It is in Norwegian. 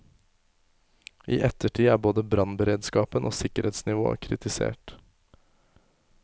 I ettertid er både brannberedskapen og sikkerhetsnivået kritisert.